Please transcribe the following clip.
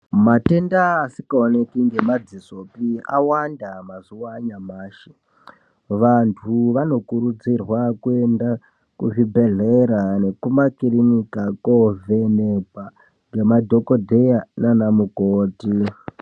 Matenda asikaoneki ngemadzisopi awanda mazuwa anyamashi vantu vanokurudzirwa kuenda kuzvibhedhlera nekumakirinika kovhenekwa ngemadhokodheya naanamukoti .